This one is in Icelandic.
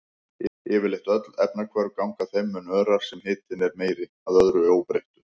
Yfirleitt öll efnahvörf ganga þeim mun örar sem hitinn er meiri, að öðru óbreyttu.